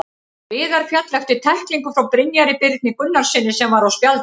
Viðar féll eftir tæklingu frá Brynjari Birni Gunnarssyni sem var á spjaldi.